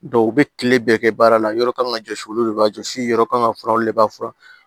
u bɛ kile bɛɛ kɛ baara la yɔrɔ kan ka jɔsi olu de b'a jɔsi yɔrɔ kan ka fura olu de b'a fura